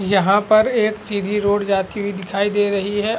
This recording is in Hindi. यहाँ पर एक सीधी रोड जाती हुई दिखाई दे रही है।